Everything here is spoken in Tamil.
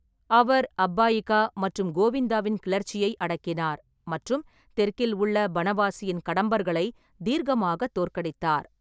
அவர் அப்பாயிகா மற்றும் கோவிந்தாவின் கிளர்ச்சியை அடக்கினார் மற்றும் தெற்கில் உள்ள பனவாசியின் கடம்பர்களை தீர்க்கமாக தோற்கடித்தார்.